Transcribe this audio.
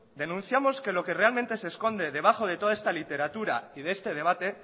denunciamos que lo que realmente se esconde debajo de toda esta literatura y de este debate